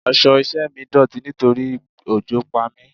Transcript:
Aṣọ iṣẹ́ mi dọ̀tí nítorí òjò pa mi.